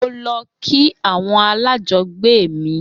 Mo lọ kí àwọn ará alájọgbe mi